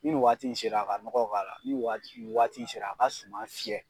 Ni nin waati in sera a ka nɔgɔ k'a la, ni waati waati in sera a ka suman fiyɛ.